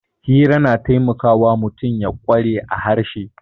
Hira na taimakawa mutum ya kware a harshe